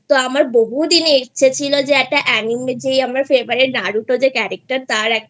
তো আমার বহুদিনের ইচ্ছে ছিল যে একটা Anime যেই আমার Favourite Naruto যে Character